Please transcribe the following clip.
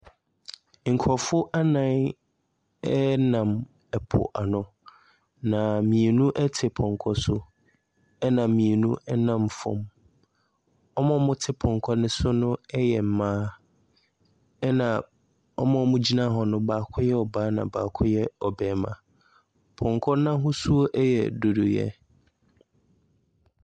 Nkorɔfoɔ anan ɛnam ɛpo ano. Na mmienu ɛte pɔnkɔ so ɛna mmienu ɛnam fam. Wɔn a wɔte pɔnkɔ so no ɛyɛ mmaa ɛna wɔn a wɔ gyina hɔ no baako yɛ ɔbaa na baako yɛ barima. Pɔnkɔ n'ahosuo ɛyɛ dodoyɛ.